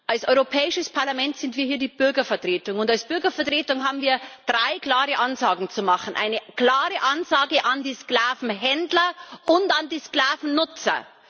Als Europäisches Parlament sind wir hier die Bürgervertretung, und als Bürgervertretung haben wir drei klare Ansagen zu machen Eine klare Ansage an die Sklavenhändler und an die Sklavennutzer.